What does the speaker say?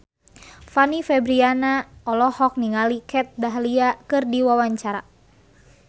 Fanny Fabriana olohok ningali Kat Dahlia keur diwawancara